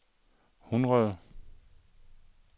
hundrede